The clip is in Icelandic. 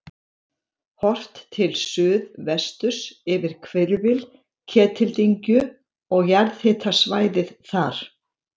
Horft til suðvesturs yfir hvirfil Ketildyngju og jarðhitasvæðið þar.